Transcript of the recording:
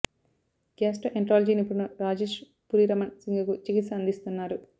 గ్యాస్టో enterology నిపుణుడు రాజేష్ పురి రమణ్ సింగ్ కు చికిత్స అందిస్తున్నారు